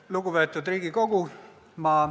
Lugupeetud Riigikogu!